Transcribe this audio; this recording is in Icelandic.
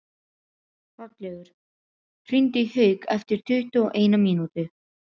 Hrollaugur, hringdu í Hauk eftir tuttugu og eina mínútur.